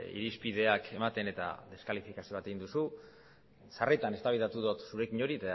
irizpideak ematen eta deskalifikazio bat egin duzu sarritan eztabaidatu dut zurekin hori